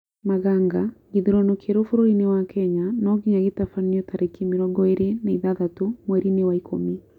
Maganga: Gĩthurano kĩerũ bũrũri-inĩ wa Kenya nonginya gĩtabanio tariki mĩrongo ĩrĩ na ithathatũ mweri-inĩ wa ikũmi